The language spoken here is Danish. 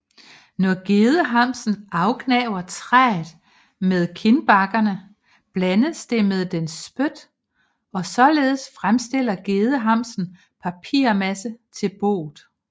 Når gedehamsen afgnaver træet med kindbakkerne blandes det med dens spyt og således fremstiller gedehamsen papirmassen til boet